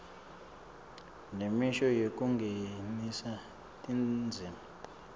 nemisho yekungenisa tindzima